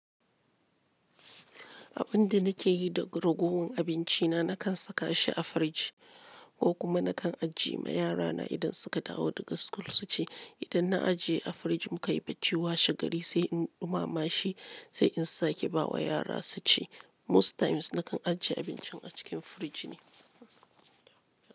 Abin da nake yi da ragowar abinci na, na kan saka shi a firiji ko kuma na kan ajiye ma yara na idan suka dawo daga school su ci. Idan na ajiye a firiji muka yi bacci, washe gari sai in ɗumama shi sai in sake ba wa yara su ci. Most times na kan ajiye abincin a cikin firiji ne.